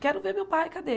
Quero ver meu pai, cadê?